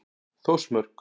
Þórsmörk